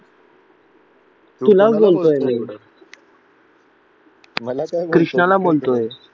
कृष्णाला बोलतोय